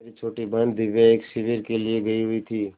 मेरी छोटी बहन दिव्या एक शिविर के लिए गयी हुई थी